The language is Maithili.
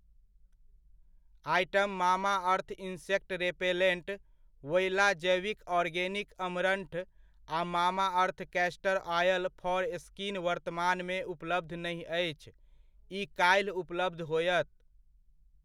Item Mamaearth insect repellent , Voila जैविऑर्गेनिक अमरंठ आ Mamaearth castor oil for skin वर्तमानमे उपलब्ध नहि अछि, ई काल्हि उपलब्ध होयत।